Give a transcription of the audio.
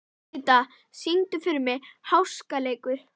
Didda, syngdu fyrir mig „Háskaleikur“.